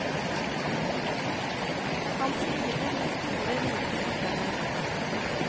Han smiler med store, hvite fortenner.